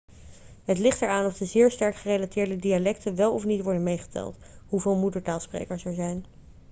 het ligt eraan of de zeer sterk gerelateerde dialecten wel of niet worden meegeteld hoeveel moedertaalsprekers er zijn